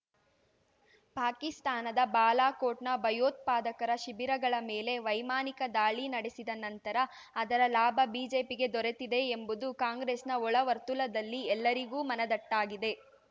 ಪಾಕಿಸ್ತಾನದ ಬಾಲಾಕೋಟ್‌ನ ಭಯೋತ್ಪಾದಕರ ಶಿಬಿರಗಳ ಮೇಲೆ ವೈಮಾನಿಕ ದಾಳಿ ನಡೆಸಿದ ನಂತರ ಅದರ ಲಾಭ ಬಿಜೆಪಿಗೆ ದೊರೆತಿದೆ ಎಂಬುದು ಕಾಂಗ್ರೆಸ್‌ನ ಒಳ ವರ್ತುಲದಲ್ಲಿ ಎಲ್ಲರಿಗೂ ಮನದಟ್ಟಾಗಿದೆ